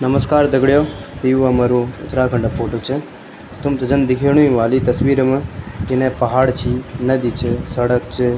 नमस्कार दगडियों त यु हमरो उत्तराखण्ड क फोटो च तुमथे जन दिखेणु ही ह्वालू ई तस्वीर मा इने पहाड़ छी नदी च सड़क च।